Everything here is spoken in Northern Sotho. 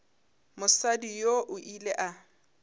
mosadi yoo o ile a